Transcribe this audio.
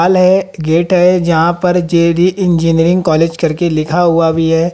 Hall है gate है जहां पर जे डी इंजीनियरिंग कॉलेज करके लिखा हुआ भी है।